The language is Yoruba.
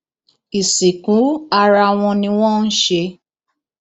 ìsìnkú ara wọn ni wọn ń ṣe